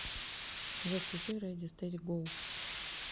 джой включи рэди стэди гоу